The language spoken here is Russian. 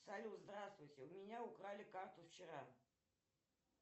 салют здравствуйте у меня украли карту вчера